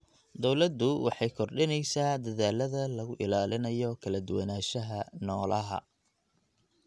Dawladdu waxay kordhinaysaa dadaallada lagu ilaalinayo kala duwanaanshaha noolaha.